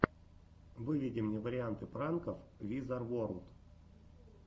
выведи мне варианты пранков визар ворлд